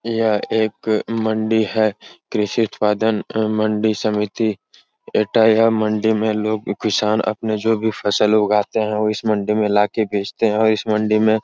यह एक मंडी है। कृषि उत्पादन मंडी समिति मंडी में लोग किसान अपनी जो भी फसल उगाते है वो इस मंडी में लाके बेचते हैं और इस मंडी में --